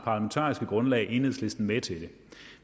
parlamentariske grundlag enhedslisten med til det